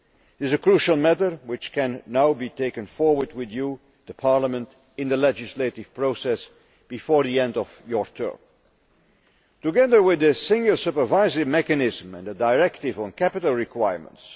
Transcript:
This is a crucial matter, which can now be taken forward with Parliament in the legislative process before the end of this parliamentary term. Together with the Single Supervisory Mechanism and the directive on capital requirements